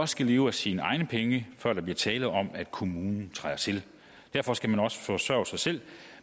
skal leve af sine egne penge før der bliver tale om at kommunen træder til derfor skal man også forsørge sig selv